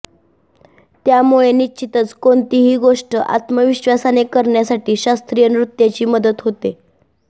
त्यामुळे निश्चितच कोणतीही गोष्ट आत्मविश्वासाने करण्यासाठी शास्त्रीय नृत्याची मदत होते